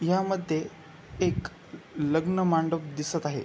ह्या मध्ये एक लग्न मांडप दिसत आहे.